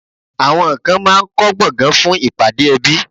Àwọn kan máá ń kọ́ gbọ̀ngàn fún ìpàdé ẹbí